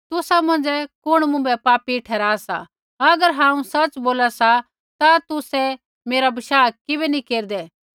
तुसा मौंझ़ै कुण मुँभै पापी ठहरा सा अगर हांऊँ सच़ बोला सा ता तुसै मेरा बशाह किबै नी केरदै